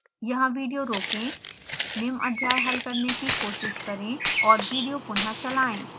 यहाँ विडियो रोकें निम्न अध्याय हल करने की कोशिश करें और विडियो पुनः चलाएं